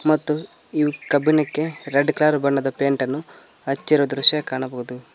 ಮತ್ತು ಇವು ಕಬ್ಬಿಣಕ್ಕೆ ರೆಡ್ ಕಲರ್ ಬಣ್ಣದ ಪೈಂಟ ನ್ನು ಹಚ್ಚಿರುವ ದೃಶ್ಯ ಕಾಣಬಹುದು.